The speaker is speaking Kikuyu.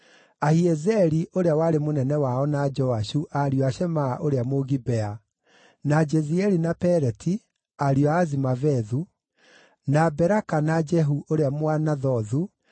Ahiezeri ũrĩa warĩ mũnene wao na Joashu, ariũ a Shemaa ũrĩa Mũgibea; na Jezieli, na Peleti, ariũ a Azimavethu; na Beraka, na Jehu ũrĩa Mũanathothu,